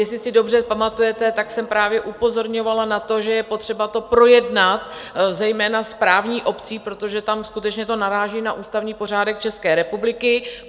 Jestli si dobře pamatujete, tak jsem právě upozorňovala na to, že je potřeba to projednat, zejména s právní obcí, protože tam skutečně to naráží na ústavní pořádek České republiky.